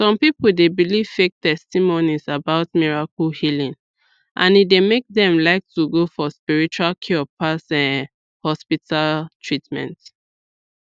some people dey believe fake testimonies about miracle healing and e dey make dem like to go for spiritual cure pass um hospital treatment